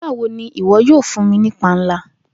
Nigbawo ni iwọ yoo fun mi ni panla?